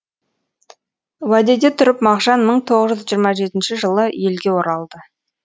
уәдеде тұрып мағжан мың тоғыз жүз жиырма жетінші жылы елге оралды